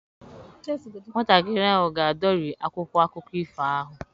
Nwatakịrị ahụ ga-adọri akwụkwọ akụkọ ifo ahụ